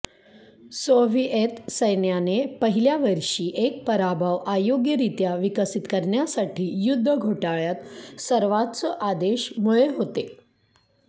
Soviet सैन्याने पहिल्या वर्षी एक पराभव अयोग्यरित्या विकसित करण्यासाठी युद्ध घोटाळ्यात सर्वोच्च आदेश मुळे होते